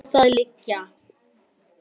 Vel má það liggja.